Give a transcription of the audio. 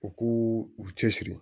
U k'u u cɛsiri